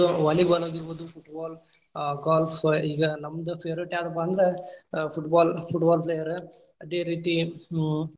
Volleyball ಆಗಿರ್ಬೋದು , football ಆ golf ಈಗಾ ನಮ್ದ್‌ favourite ಯಾವ್ದಪ್ಪಾ ಅಂದ್ರ ಆ football, football player ಅದೇರೀತಿ ಹ್ಮ್‌.